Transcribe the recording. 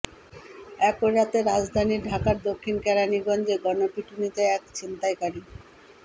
একই রাতে রাজধানী ঢাকার দক্ষিণ কেরানীগঞ্জে গণপিটুনিতে এক ছিনতাইকারী